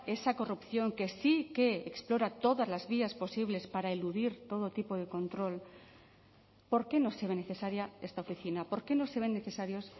esa corrupción que sí que explora todas las vías posibles para eludir todo tipo de control por qué no se ve necesaria esta oficina por qué no se ven necesarios